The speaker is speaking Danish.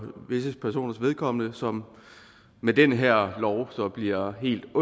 visse personers vedkommende og som med den her lov så bliver helt